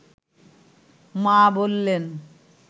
মা বললেন